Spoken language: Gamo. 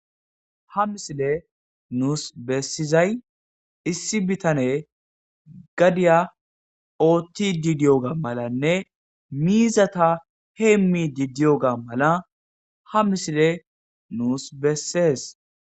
Ha misile nuus bessizay issi bitane gadiya ootti didiyoga malanne miizata heemmi didiyoga mala ha misile nuus bessees.